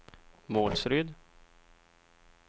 Målsryd